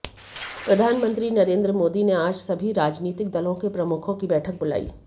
प्रधानमंत्री नरेंद्र मोदी ने आज सभी राजनीतिक दलों के प्रमुखों की बैठक बुलाई